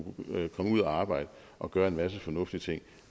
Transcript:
komme ud at arbejde og gøre en masse fornuftige ting